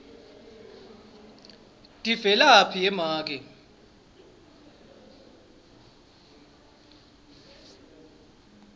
tivelaphi ye make